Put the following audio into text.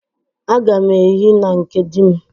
Agam ehi na nke di m.